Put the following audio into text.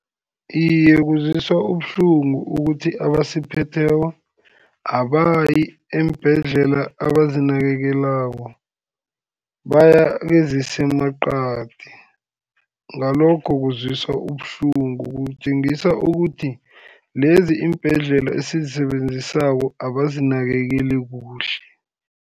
Iye, kuzwisa ubuhlungu ukuthi abasiphetheko, abayi eembhedlela abazinakekelako, baya kezisemaqadi, ngalokho kuzwisa ubuhlungu kutjengisa ukuthi lezi iimbhedlela esizisebenzisako abazinakekeli kuhle.